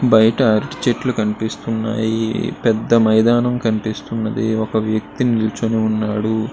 బయట అరిటి చెట్లు కనిపిస్తున్నాయి. పెద్ద మైదానం కనిపిస్తున్నది. ఒక వ్యక్తి నిలుచుని ఉన్నాడు.